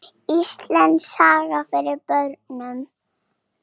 Íslandssaga handa börnum.